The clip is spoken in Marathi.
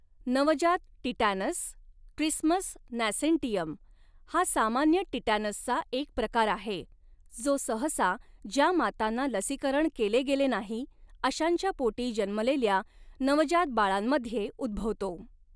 नवजात टिटॅनस ट्रिस्मस नॅसेन्टियम हा सामान्य टिटॅनसचा एक प्रकार आहे, जो सहसा ज्या मातांना लसीकरण केले गेले नाही अशांच्या पोटी जन्मलेल्या नवजात बाळांमध्ये उद्भवतो.